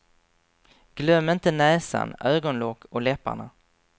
Glöm inte näsan, ögonlock och läpparna.